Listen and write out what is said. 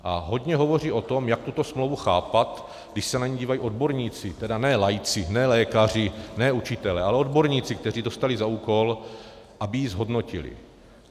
A hodně hovoří o tom, jak tuto smlouvu chápat, když se na ni dívají odborníci, tedy ne laici, ne lékaři, ne učitelé, ale odborníci, kteří dostali za úkol, aby ji zhodnotili.